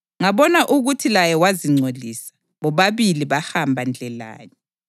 Ngabona ukuthi laye wazingcolisa; bobabili bahamba ndlelanye.